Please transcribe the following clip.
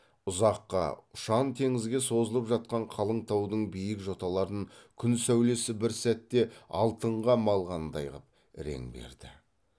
ұзаққа ұшан теңізге созылып жатқан қалың таудың биік жоталарын күн сәулесі бір сәтте алтынға малғандай қып рең берді